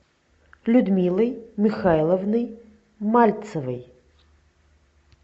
людмилой михайловной мальцевой